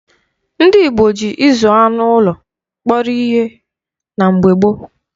Ndị Igbo ji ịzụ anụ ụlọ kpọrọ ihe na mgbe gboo.